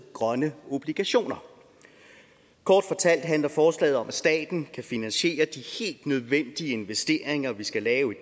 grønne obligationer kort fortalt handler forslaget om at staten kan finansiere de helt nødvendige investeringer vi skal lave i